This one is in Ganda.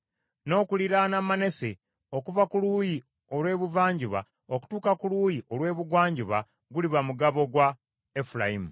N’okuliraana Manase okuva ku luuyi olw’ebuvanjuba okutuuka ku luuyi olw’ebugwanjuba guliba mugabo gwa Efulayimu.